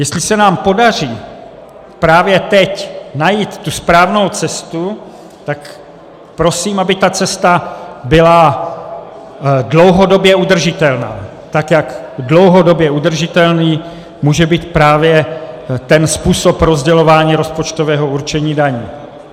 Jestli se nám podaří právě teď najít tu správnou cestu, tak prosím, aby ta cesta byla dlouhodobě udržitelná, tak jak dlouhodobě udržitelný může být právě ten způsob rozdělování rozpočtového určení daní.